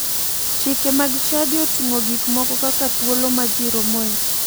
Chike mag chadi oting'o gik moko kaka thuolo ma ji romoe